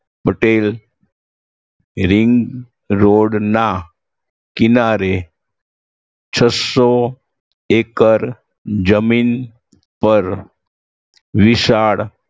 Patel ring road ના કિનારે છસો એકર જમીન પર વિશાળ